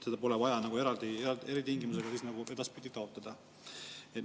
Seda pole vaja eraldi taotleda, nii et kehtiksid sätestatud eritingimused.